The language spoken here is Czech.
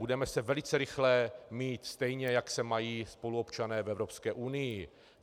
Budeme se velice rychle mít stejně, jak se mají spoluobčané v Evropské unii.